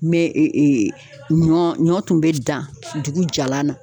Mɛ e e e ɲɔ ɲɔ tun be dan dugu jalan na